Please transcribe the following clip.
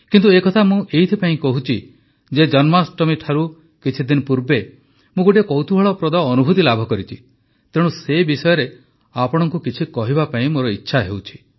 କିନ୍ତୁ ଏ କଥା ମୁଁ ଏଥିପାଇଁ କହୁଛି ଯେ ଜନ୍ମାଷ୍ଟମୀଠାରୁ କିଛି ଦିନ ପୂର୍ବେ ମୁଁ ଗୋଟିଏ କୌତୁହଳପ୍ରଦ ଅନୁଭୁତି ଲାଭ କରିଛି ତେଣୁ ସେ ବିଷୟରେ ଆପଣଙ୍କୁ କିଛି କହିବା ପାଇଁ ମୋର ଇଚ୍ଛା ହେଉଛି